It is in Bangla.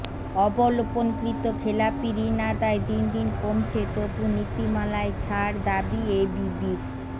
অবলোপনকৃত খেলাপি ঋণ আদায় দিন দিন কমছে তবু নীতিমালায় ছাড় দাবি এবিবির